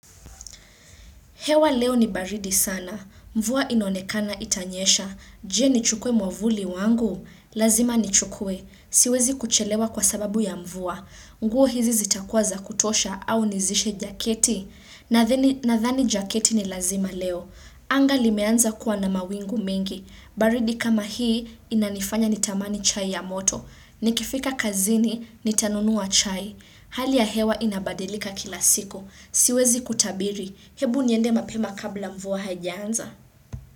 Hewa leo ni baridi sana. Mvua inaonekana itanyesha. Je, nichukue mwavuli wangu? Lazima ni chukwe. Siwezi kuchelewa kwa sababu ya mvua. Nguo hizi zitakuwa za kutosha au nizishe jaketi? Nadhani jaketi ni lazima leo. Anga limeanza kuwa na mawingu mengi. Baridi kama hii inanifanya nitamani chai ya moto. Nikifika kazini, nitanunua chai. Hali ya hewa inabadilika kila siku. Siwezi kutabiri. Hebu niende mapema kabla mvua haijaanza.